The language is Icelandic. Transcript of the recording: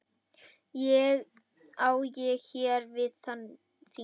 Á ég hér við þing.